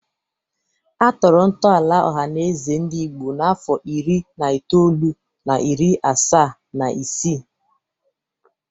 Atọrọ ntọala Ọhanaeze Ndigbo n'afọ iri na itoolu na iri asaa na isii.